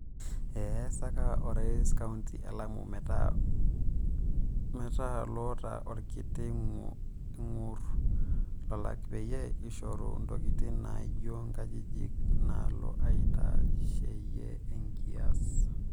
E eseka Orais kaunti e Lamu metaa loota olkiti ingoru lalaak peyie ishoru ntokitin naajio ng'ajijik nalo aitasheyia enkias.